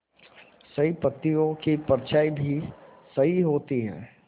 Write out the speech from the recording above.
सही पत्तियों की परछाईं भी सही होती है